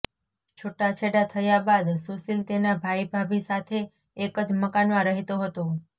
છુટ્ટાછેડા થયાં બાદ સુષિલ તેના ભાઇ ભાભી સાથે એકજ મકાનમાં રહેતો હતો